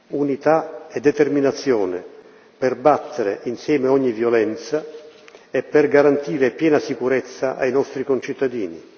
Unità e determinazione, per battere, insieme, ogni violenza e per garantire piena sicurezza ai nostri concittadini